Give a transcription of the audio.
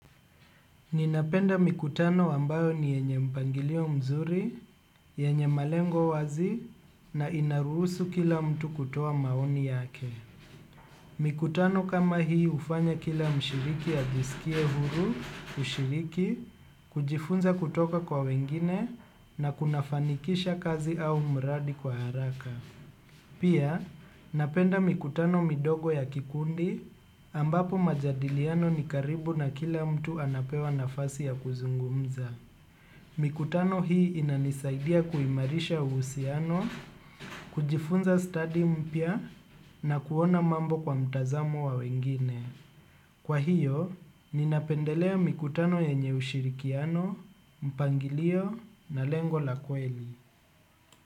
Ninapenda mikutano ambayo ni yenye mpangilio mzuri, yenye malengo wazi na inaruhusu kila mtu kutoa maoni yake. Mikutano kama hii hufanya kila mshiriki ajisikie huru kushiriki, kujifunza kutoka kwa wengine na kunafanikisha kazi au mradi kwa haraka. Pia, napenda mikutano midogo ya kikundi ambapo majadiliano ni karibu na kila mtu anapewa nafasi ya kuzungumza. Mikutano hii inanisaidia kuimarisha uhusiano, kujifunza stadi mpya na kuona mambo kwa mtazamo wa wengine. Kwa hiyo, ninapendelea mikutano yenye ushirikiano, mpangilio na lengo la kweli.